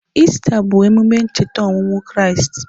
Ista bụ emume ịcheta ọnwụ Kraịst.